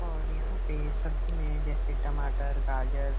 और यहाँ पे सब्जी मेंजैसे टमाटर गाजर --